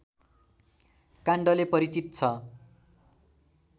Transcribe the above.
काण्डले परिचित छ